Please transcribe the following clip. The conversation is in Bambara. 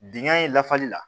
Dingɛ in lafali la